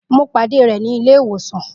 Mo pàdé rẹ̀ ní ilé ìwòsàn.